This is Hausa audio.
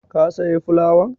Ka saya fulawan?